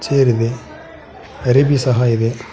ನೀರ್ ಇದೆ ಅರಿಬಿ ಸಹ ಇದೆ.